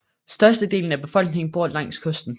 Størstedelen af befolkningen bor langs kysten